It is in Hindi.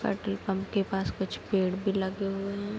पेट्रोल पम्प के पास कुछ पेड़ भी लगे हुए हैं।